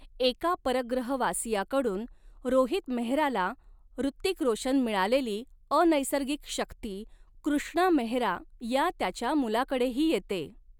एका परग्रहवासियाकडून रोहित मेहराला ॠतिक रोशन मिळालेली अनैसर्गिक शक्ती कृष्णा मेहरा या त्याच्या मुलाकडेही येते.